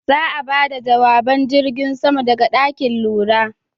Za'a bada jawaban jirgin saman daga ɗakin lura.